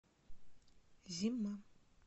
зима